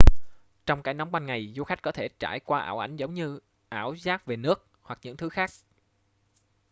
trong cái nóng ban ngày du khách có thể trải qua ảo ảnh giống như ảo giác về nước hoặc những thứ khác